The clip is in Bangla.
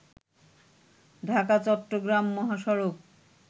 ঢাকা-চট্টগ্রাম মহাসড়ক